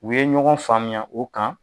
U ye ɲɔgɔn faamuya o kan